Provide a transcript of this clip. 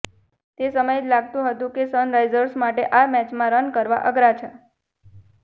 તે સમયે જ લાગતુ હતુ કે સનરાઇઝર્સ માટે આ મેચમાં રન કરવા અઘરા છે